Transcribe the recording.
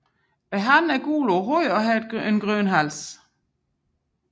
Hannen er gul på hovedet og har grøn hals